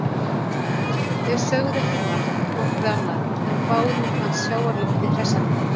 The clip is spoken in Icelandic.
Þau sögðu ekki margt hvort við annað en báðum fannst sjávarloftið hressandi.